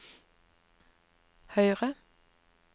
høyre